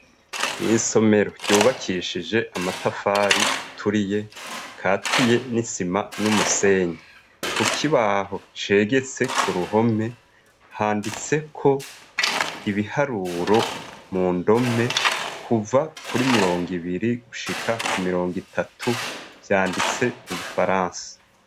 Mw'isomero ryubakishije amatafari aturiye, akatiye n'isima n'umusenyi, ku kibaho cegetse ku ruhome handitseko ibiharuro mu ndome kuva kuri mirongo ibiri gushika ku mirongo itatu, vyanditse mu gifaransa.